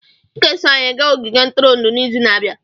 Ị ga-eso anyị gaa ogige ntụrụndụ n'izu na-abịa.